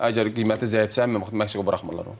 Əgər qiyməti zəifdirsə, məşqə buraxmırlar onu.